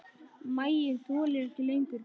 Maginn þolir ekki lengur bið.